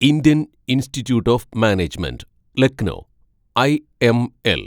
Indian institute of management Lucknow (IML)